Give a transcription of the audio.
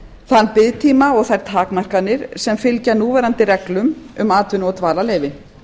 þann biðtíma og þær takmarkanir sem fylgja núverandi reglum um atvinnu og dvalarleyfi